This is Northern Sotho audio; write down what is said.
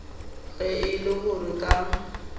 ge e le gore ka